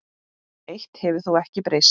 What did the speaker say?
Eitt hefur þó ekki breyst.